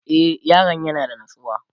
e Yaron yana da natsuwa